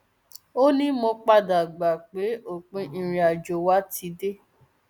ó ní mo padà gbà pé òpin ìrìnàjò wa ti dé